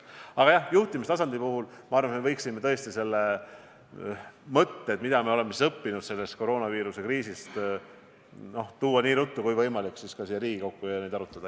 Aga jah, juhtimistasandi puhul ma arvan, et me võiksime tõesti need mõtted, mida me sellest koroonaviiruse kriisist oleme õppinud, tuua nii ruttu kui võimalik siia Riigikogu ette ja neid arutada.